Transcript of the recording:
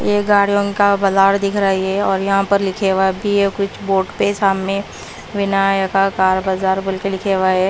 गाड़ियों का बाजार दिख रहा है ये और यहां पर लिखे हुआ है बी कुछ बोट पे सामने विनायका कार बाजार बोलके लिखे हुआ है।